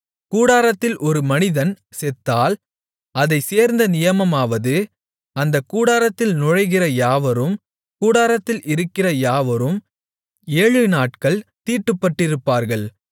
கூடாரத்தில் ஒரு மனிதன் செத்தால் அதைச்சேர்ந்த நியமமாவது அந்தக் கூடாரத்தில் நுழைகிற யாவரும் கூடாரத்தில் இருக்கிற யாவரும் ஏழுநாட்கள் தீட்டுப்பட்டிருப்பார்கள்